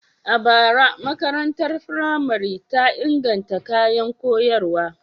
A bara, makarantar firamare ta inganta kayan koyarwa.